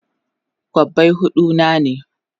Kobbai hudu na ne?